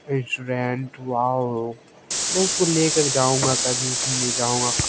restaurant wow मैं इसको लेकर जाऊंगा कभी इसे ले जाऊंगा कभी इसमें --